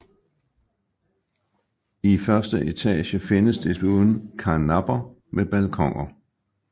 I første etage findes desuden karnapper med balkoner